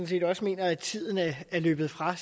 set også mener at tiden er løbet fra